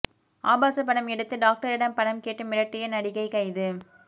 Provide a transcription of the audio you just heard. ஆபாச படம் எடுத்து டாக்டரிடம் பணம் கேட்டு மிரட்டிய நடிகை கைது